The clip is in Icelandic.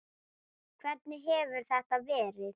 Hvernig hefur þetta verið?